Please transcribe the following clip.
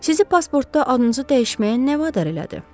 Sizi pasportda adınızı dəyişməyə nə vadar elədi?